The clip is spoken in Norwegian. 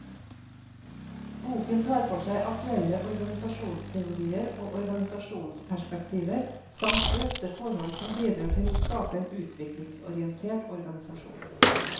Boken tar for seg aktuelle organisasjonsteorier og organisasjonsperspektiver, samt drøfter forhold som bidrar til å skape en utviklingsorientert organisasjon.